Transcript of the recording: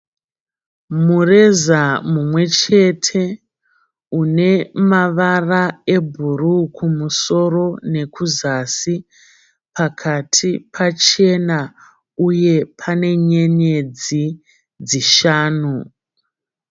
Mureza umwechete unemavara ebhuruu kumusoro nekuzasi. Pakati pachena uye pane nyenyedzi dzishanu.